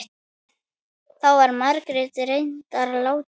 Þá var Margrét reyndar látin.